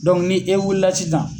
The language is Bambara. ni e wulila sisan.